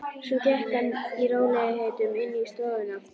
Svo gekk hann í rólegheitum inn í stofuna.